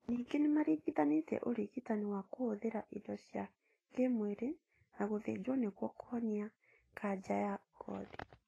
Ningĩ nĩ maringithanĩtie ũrigitani wa kũhũthĩra indo cia kĩmwĩrĩ na gũthinjwo nĩguo kũhonia kanja ya ngothi